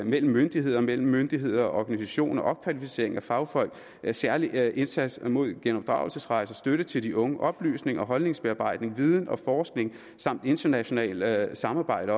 mellem myndigheder og mellem myndigheder og organisationer opkvalificering af fagfolk særlig indsats mod genopdragelsesrejser støtte til de unge oplysning og holdningsbearbejdning viden og forskning samt internationalt samarbejde